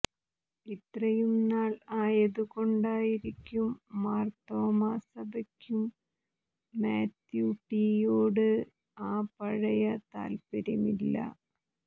ഇത്രയും നാൾ ആയതുകൊണ്ടായിരിക്കും മാർത്തോമ്മാ സഭയ്ക്കും മാത്യു ടി യോട് ആ പഴയ താൽപ്പര്യമില്ല